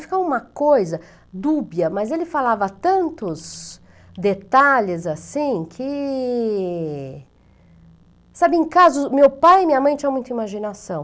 Ficava uma coisa dúbia, mas ele falava tantos detalhes assim que... Sabe, em casos... Meu pai e minha mãe tinham muita imaginação.